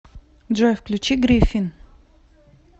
джой включи гриффин